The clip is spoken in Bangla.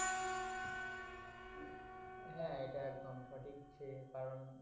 হ্যা এটা একদম সঠিক যে কারণ